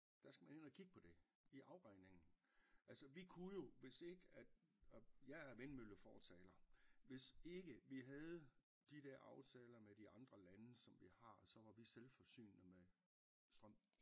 Der skal man ind og kigge på det i afregningen altså vi kunne jo hvis ikke at og jeg er vindmøllefortaler hvis ikke vi havde de der aftaler med de andre lande som vi har så var vi selvforsynende med strøm